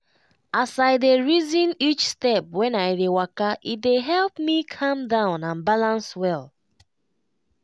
as i dey reason each step when i dey waka e dey help me calm down and balance well.